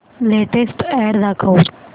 latest ad दाखव